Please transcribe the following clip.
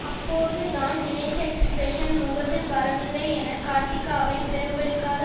அப்போது தான் நினைத்த எக்ஸ்பிரஸன் முகத்தில் வரவில்லை என கார்த்திகாவை பிரம்பெடுக்காத